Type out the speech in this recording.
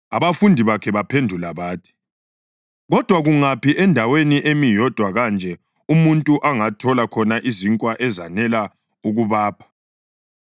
Abafundi bakhe baphendula bathi, “Kodwa kungaphi endaweni emi yodwa kanje umuntu angathola khona izinkwa ezanele ukubapha?”